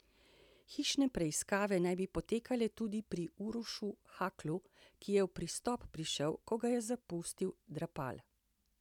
Hišne preiskave naj bi potekale tudi pri Urošu Haklu, ki je v Pristop prišel, ko ga je zapustil Drapal.